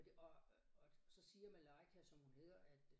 For det og og så siger Malaika som hun hedder at